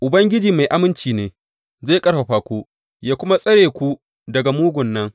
Ubangiji mai aminci ne, zai ƙarfafa ku, yă kuma tsare ku daga mugun nan.